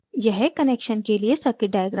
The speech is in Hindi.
यह connection के लिए circuit diagram हैं